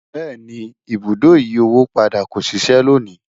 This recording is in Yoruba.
béèni, ibùdó ìyí owó padà kò ṣiṣe lóni